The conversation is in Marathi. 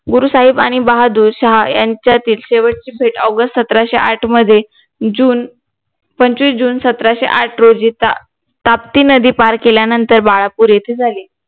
गुरु साहेब आणि बहादूर शाह यांच्यातील शेवटची भेट AUGUST सतराशे साठ मध्ये JUNE पंचवीस JUNE सतराशे आठ रोजी ताप्ती नदी पार केल्यानंतर बाळापूर येते झाली